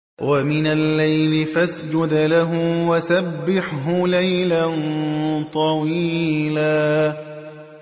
وَمِنَ اللَّيْلِ فَاسْجُدْ لَهُ وَسَبِّحْهُ لَيْلًا طَوِيلًا